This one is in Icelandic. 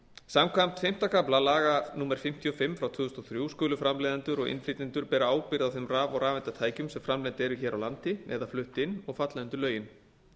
samkvæmt fimmta kafla laga númer fimmtíu og fimm tvö þúsund og þrjú skulu framleiðendur og innflytjendur bera ábyrgð á þeim raf og rafeindatækjum sem framleidd eru hér á landi eða flutt inn og falla undir lögin